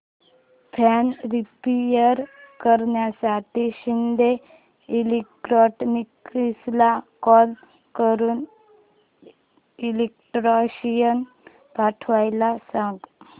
fan repair करण्यासाठी शिंदे इलेक्ट्रॉनिक्सला call करून इलेक्ट्रिशियन पाठवायला सांग